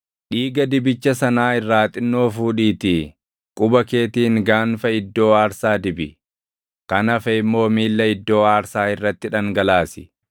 Dhiiga dibicha sanaa irraa xinnoo fuudhiitii quba keetiin gaanfa iddoo aarsaa dibi; kan hafe immoo miilla iddoo aarsaa irratti dhangalaasi.